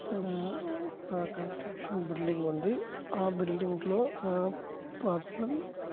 ఇక్కడ ఒక construction building ఉంది ఆ బిల్డింగ్ లో ఒక పర్సన్ --